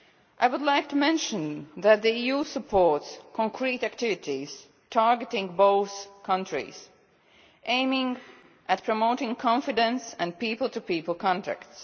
I would like to mention that the EU supports concrete activities targeting both countries, aiming at promoting confidence and people to people contacts.